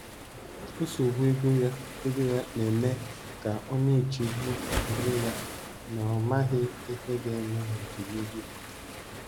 Nsogbu ego ya ego ya na-eme ka ọ na-echegbu onwe ya na ọ maghị ihe ga-eme n’ọdịnihu.